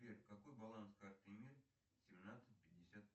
сбер какой баланс карты мир семнадцать пятьдесят